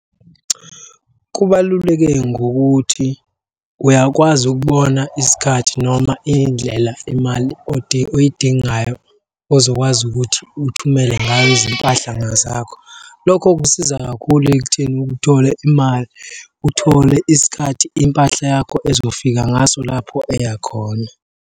Kubaluleke ngokuthi uyakwazi ukubona isikhathi noma iy'ndlela imali oyidingayo ozokwazi ukuthi thumele ngayo izimpahlanga zakho. Lokho kusiza kakhulu ekutheni uthole imali, uthole isikhathi impahla yakho ezofika ngaso lapho eya khona.